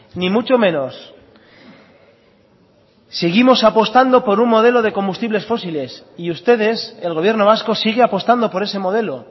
ni mucho menos seguimos apostando por un modelo de combustibles fósiles y ustedes el gobierno vasco sigue apostando por ese modelo